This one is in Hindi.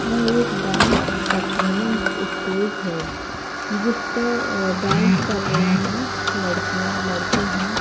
वह एक डांस परफॉर्मेंस स्टेज है जिसपे अह डांस कर रही हैं लड़कियां लड़के हैं।